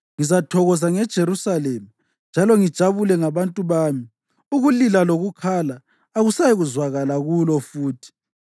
Ngizathokoza ngeJerusalema njalo ngijabule ngabantu bami; ukulila lokukhala akusayikuzwakala kulo futhi.